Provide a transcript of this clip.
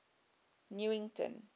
newington